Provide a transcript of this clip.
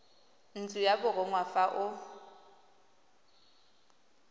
ntlo ya borongwa fa o